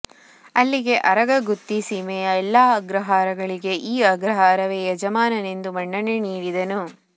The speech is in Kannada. ಅಲ್ಲಿಗೆ ಆರಗ ಗುತ್ತಿ ಸೀಮೆಯ ಎಲ್ಲ ಅಗ್ರಹಾರಗಳಿಗೆ ಈ ಅಗ್ರಹಾರವೇ ಯಜಮಾನನೆಂದು ಮನ್ನಣೆ ನೀಡಿದನು